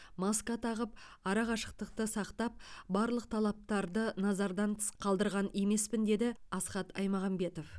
маска тағып арақашықтықты сақтап барлық талаптарды назардан тыс қалдырған емеспін деді асхат аймағамбетов